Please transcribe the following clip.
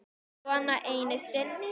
Svona einu sinni?